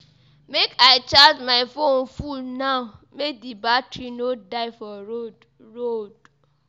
Make I charge my fone full now make di battery no die for road. road.